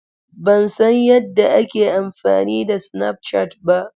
Ban san yadda ake amfani da snapchat ba.